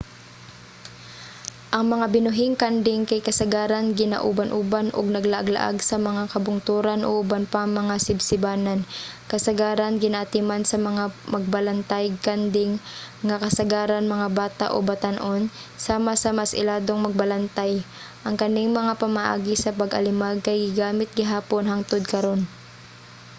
ang mga binuhing kanding kay kasagaran ginauban-uban ug naglaag-laag sa mga kabungturan o uban pang mga sibsibanan kasagaran ginaatiman sa mga magbalantayg kanding nga kasagaran mga bata o batan-on sama sa mas iladong magbalantay. ang kaning mga pamaagi sa pag-alimag kay gigamit gihapon hangtod karun